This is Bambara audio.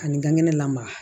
Ani ka ŋɛnɛ lamaga